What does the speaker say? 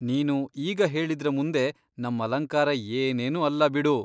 ನೀನು ಈಗ ಹೇಳಿದ್ರ ಮುಂದೆ ನಮ್ಮಲಂಕಾರ ಏನೇನೂ ಅಲ್ಲ ಬಿಡು.